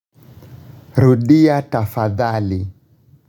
Rudia Tafadhali.